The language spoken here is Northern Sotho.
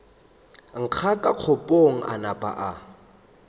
ngaka kgokong a napa a